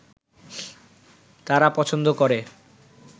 তারা পছন্দ করে